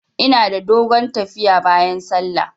Ina da dogon tafiya bayan sallah.